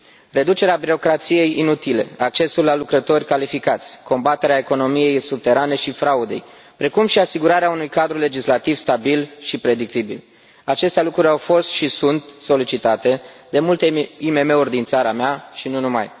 Reducerea birocrației inutile, accesul la lucrători calificați, combaterea economiei subterane și fraudei, precum și asigurarea unui cadru legislativ stabil și predictibil, aceste lucruri au fost și sunt solicitate de multe IMM uri din țara mea și nu numai.